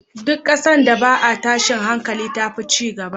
Duk ƙasan da ba a tashin hankali tafi cigaba